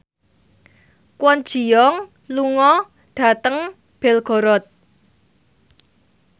Kwon Ji Yong lunga dhateng Belgorod